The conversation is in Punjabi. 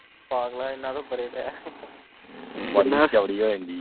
ਪਾਗਲਾ ਇਹਨਾਂ ਤੋਂ ਪਰੇ ਰਹਿ